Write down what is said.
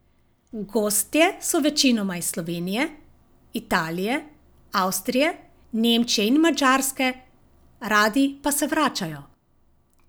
Gostje so večinoma iz Slovenije, Italije, Avstrije, Nemčije in Madžarske, radi pa se vračajo.